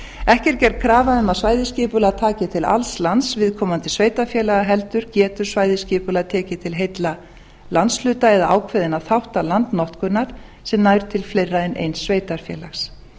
ekki er gerð krafa um að svæðisskipulag taki til alls lands viðkomandi sveitarfélaga heldur getur svæðisskipulag tekið til heilla landshluta eða ákveðinna þátta landnotkunar sem nær til fleiri en eins sveitarfélags